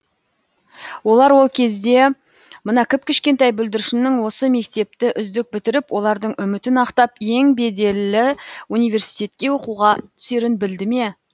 олар ол кезде мына кіп кішкентай бүлдіршіннің осы мектепті үздік бітіріп олардың үмітін ақтап ең беделі университетке оқуға түсерін білді ме